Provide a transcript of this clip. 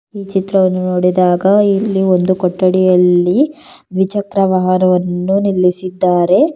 ಈ ಚಿತ್ರವನ್ನು ನೋಡಿದಾಗ ಇಲ್ಲಿ ಒಂದು ಕೊಠಡಿಯಲ್ಲಿ ದ್ವಿಚಕ್ರ ವಾಹನವನ್ನು ನಿಲ್ಲಿಸಿದ್ದಾರೆ.